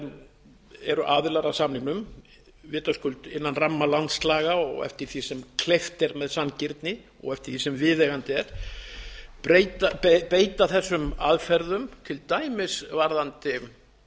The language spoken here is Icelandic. sem eru aðilar að samningnum vitaskuld innan ramma landslaga og eftir því sem kleift er með sanngirni og eftir því sem viðeigandi er beita þessum aðferðum til dæmis varðandi